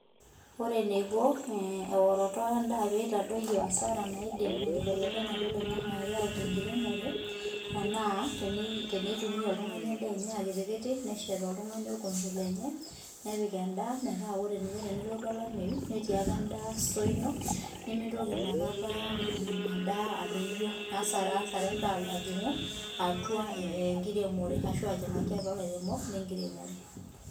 Ore eneiko eoroto endaa pee eitadoyio asara naidim enkibelekenyata oloingange ayau te nkiremore naa teneitumia; oltungani endaa enye akitikiti neshet oltungani orkompe lenye nepik endaa metaa tenelotu olameyu netii ake endaa store ino nemitoki inakata endaa adoyio ashu asara endaa alotu enkiremore ashu ajingaki atua lairemok le nkiremore